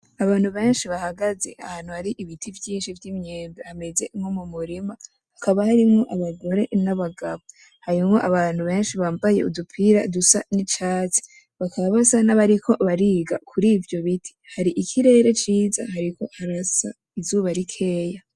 Abantu benshi bahagaze ahantu hari ibiti vyinshi vy'imyembe hameze nko mu murima, hakaba harimwo abagore n'abagabo. harimwo abantu benshi bambaye udupira dusa n'icatsi bakaba basa nabariko bariga kuri ivyo biti. Hari ikirere ciza hariko harasa izuba rikeyi.